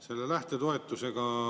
Hea minister!